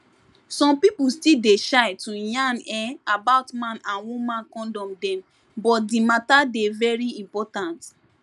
some people still dey shy to yarn[um]about man and woman condom dem but di matter dey very important